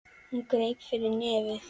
Hún greip fyrir nefið.